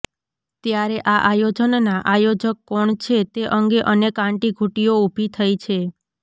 ત્યારે આ આયોજનના આયોજક કોણ છે તે અંગે અનેક આંટીઘૂંટીઓ ઊભી થઈ છે